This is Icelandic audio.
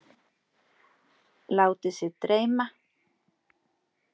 Látið sig dreyma.